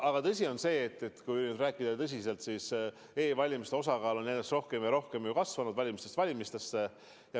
Aga kui rääkida tõsiselt, siis e-valimiste osakaal on ju järjest rohkem ja rohkem kasvanud valimistest valimistesse.